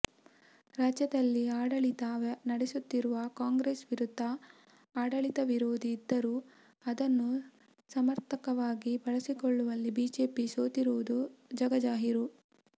ರಾಜ್ಯದಲ್ಲಿ ಆಡಳಿತ ನಡೆಸುತ್ತಿರುವ ಕಾಂಗ್ರೆಸ್ ವಿರುದ್ಧ ಆಡಳಿತ ವಿರೋಧಿ ಇದ್ದರೂ ಅದನ್ನು ಸಮರ್ಥವಾಗಿ ಬಳಸಿಕೊಳ್ಳುವಲ್ಲಿ ಬಿಜೆಪಿ ಸೋತಿರುವುದು ಜಗಜಾಹಿರು